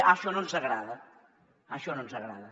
ah això no ens agrada això no ens agrada